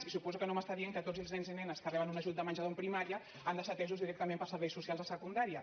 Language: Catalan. i suposo que no m’està dient que tots els nens i nenes que reben un ajut de menjador en primària han de ser atesos directament pels serveis socials a secundària